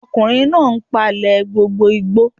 Ọkùnrin náà n palẹ̀ gbogbo igbó